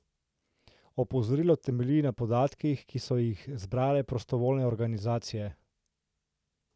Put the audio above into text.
Opozorilo temelji na podatkih, ki so jih zbrale prostovoljne organizacije.